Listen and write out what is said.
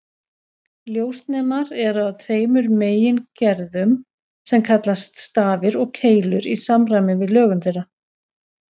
Ljósnemar eru af tveimur megingerðum sem kallast stafir og keilur í samræmi við lögun þeirra.